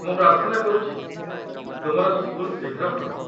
ମୁଁ ପ୍ରାର୍ଥନା କରୁଛି ତୁମର ସ୍କୁଲ ଶୀଘ୍ର ଖୋଲୁ।